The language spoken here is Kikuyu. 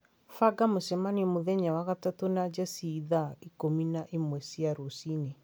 banga mũcemanio mũthenya wa gatatũ na Jesse thaa ikũmi na ĩmwe cia rũcinĩ